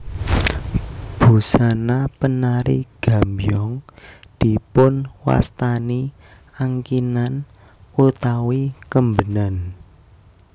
Busana penari gambyong dipunwastani angkinan utawi kembenan